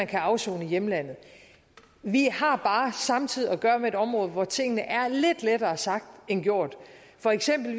kan afsone i hjemlandet vi har bare samtidig at gøre med et område hvor tingene er lidt lettere sagt end gjort for eksempel